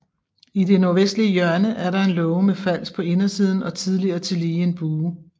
I det nordvestlige hjørne er der en låge med fals på indersiden og tidligere tillige en bue